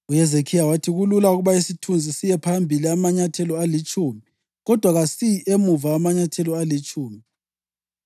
“UHezekhiya wathi kulula ukuba isithunzi siye phambili amanyathelo alitshumi, kodwa kasiyi emuva amanyathelo alitshumi.”